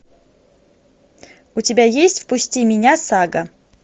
у тебя есть впусти меня сага